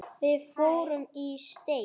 Við fórum í steik.